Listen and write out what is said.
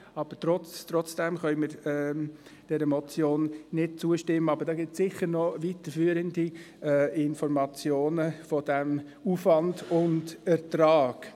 Wir können dieser Motion trotzdem nicht zustimmen, aber es gibt bestimmt noch weiterführende Informationen zu Aufwand und Ertrag.